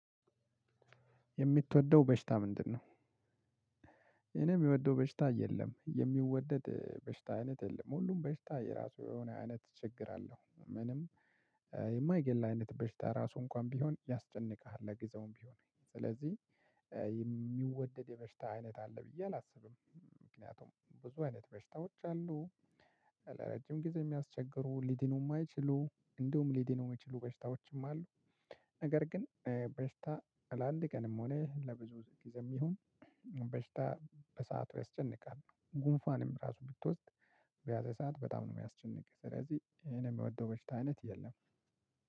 የምትወደው በሽታ ምንድነው? እኔ የምወደው በሽታ የለም። የሚወደድ በሽታ አይነት የለም። ሁሉም በሽታ የራሱ የሆነ አይነት ችግር አለው። ምንም የማይገል አይነት በሽታ ራሱ እንኳን ቢሆን ያስጨንቅሃል ለግዛውም ቢሆን ስለዚህ የሚወደድ የበሽታ አይነት አለ ብዬ አላስብም። ምክንያቱም ብዙ አይነት መሽታዎች አሉ። ለረጅም ጊዜ የሚያስቸግሩ ሊድኑ የማይችሉ እንዲሁም ሊድኑም የሚችሉ በሽታዎችም አሉ። ነገር ግን በሽታ ለአንድ ቀንም ሆነ ለብዙ ጊዜም ይሁን በሽታ በሰአቱ ያስጨንቃል። ጉንፏንም ራሱ ብትወስድ በያዘ ሰዓት በጣም ነው የሚያስጨንቅ ስለዚህ እኔ የምወደው በሽታ አይነት የለም።